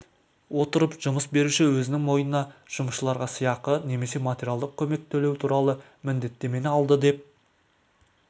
отырып жұмыс беруші өзінің мойнына жұмысшыларға сыйақы немесе материалдық көмек төлеу туралы міндеттемені алды деп